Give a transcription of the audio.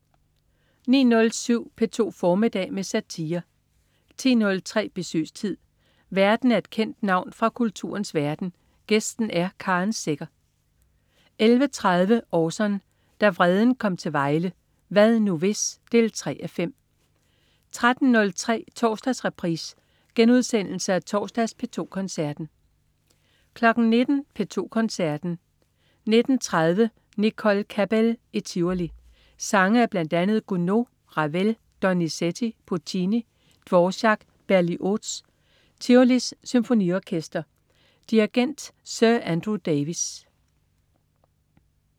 09.07 P2 formiddag med satire 10.03 Besøgstid. Værten er et kendt navn fra kulturens verden, gæsten er Karen Secher 11.30 Orson. Da vreden kom til Vejle. "Hvad nu hvis?" 3:5 13.03 Torsdagsreprise. Genudsendelse af torsdags P2 Koncerten 19.00 P2 Koncerten. 19.30 Nicole Cabell i Tivoli. Sange af bl.a. Gounod, Ravel, Donizetti, Puccini, Dvorak og Berlioz. Tivolis Symfoniorkester. Dirigent: Sir Andrew Davis